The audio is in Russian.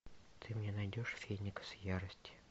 ты мне найдешь феникс ярости